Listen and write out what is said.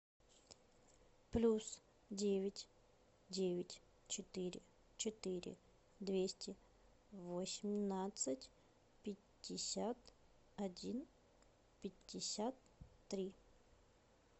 плюс девять девять четыре четыре двести восемнадцать пятьдесят один пятьдесят три